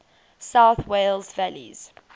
south wales valleys